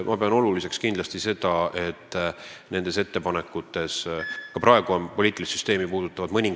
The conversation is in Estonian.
Mõningad poliitilist süsteemi puudutavad ettepanekud on juba praegu parlamendi põhiseaduskomisjonis.